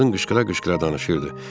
Qadın qışqıra-qışqıra danışırdı.